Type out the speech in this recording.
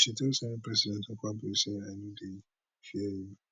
but she tell senate president akpabio say i no dey fear you